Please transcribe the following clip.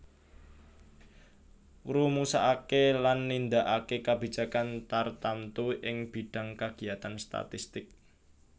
Ngrumusaké lan nindakaké kabijakan tartamtu ing bidhang kagiyatan statistik